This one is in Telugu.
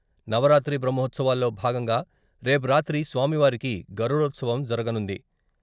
నవరాత్రి బ్రహ్మాత్సవాల్లో భాగంగా రేపు రాత్రి స్వామివారికి "గరుడోత్సవం " జరగనుంది.